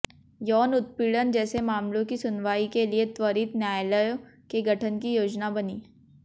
यौन उत्पीड़न जैसे मामलों की सुनवाई के लिए त्वरित न्यायालयों के गठन की योजना बनी